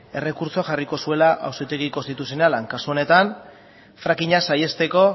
errekurtsoa jarriko zuela auzitegi konstituzionalean kasu honetan frackinga saihesteko